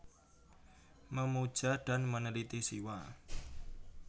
Memuja dan Meneliti Siwa